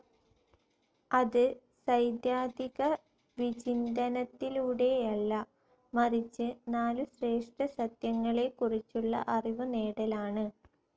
അത് സൈദ്ധാതികവിചിന്തനത്തിലൂടെയല്ല, മറിച്ച് നാലു ശ്രേഷ്ഠസത്യങ്ങളെക്കുറിച്ചുള്ള അറിവുനേടലാണ്.